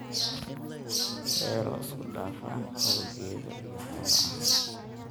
Beero isku dhafan oo geedo iyo xoolo ah.